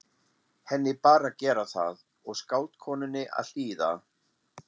Henni bar að gera það og skáldkonunni að hlýða.